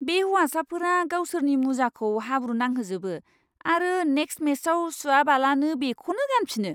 बे हौवासाफोरा गावसोरनि मुजाखौ हाब्रु नांहोजोबो आरो नेक्स्ट मेचआव सुवाबालानो बेखौनो गानफिनो।